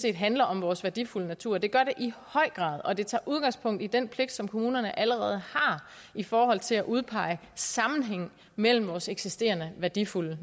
ikke handler om vores værdifulde natur for det gør det i høj grad og det tager udgangspunkt i den pligt som kommunerne allerede har i forhold til at udpege sammenhæng mellem vores eksisterende værdifulde